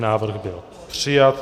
Návrh byl přijat.